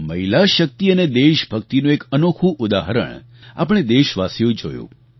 મહિલા શક્તિ અને દેશભક્તિનું એક અનોખું ઉદાહરણ આપણે દેશવાસીઓએ જોયું